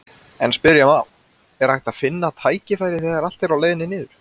En spyrja má, er hægt að finna tækifæri þegar allt er á leiðinni niður?